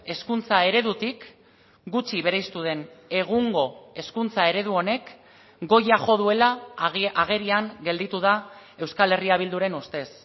hezkuntza eredutik gutxi bereiztu den egungo hezkuntza eredu honek goia jo duela agerian gelditu da euskal herria bilduren ustez